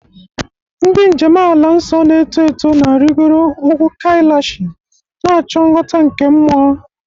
Ndị njem ala nsọ na-eto eto na-arịgoro ugwu Kailashi, na-achọ nghọta nke mmụọ.